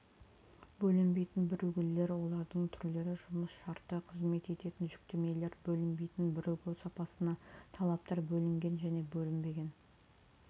бөлінбейтін бірігулер олардың түрлері жұмыс шарты қызмет ететін жүктемелер бөлінбейтін бірігу сапасына талаптар бөлінген және бөлінбеген